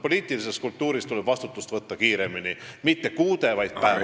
Poliitiline kultuur näeb ette, et vastutus tuleb võtta kiiremini, mitte kuude, vaid päevadega.